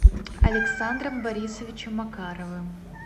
александром борисовичем макаровым